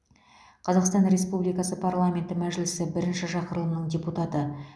қазақстан республикасы парламенті мәжілісі бірінші шақырылымының депутаты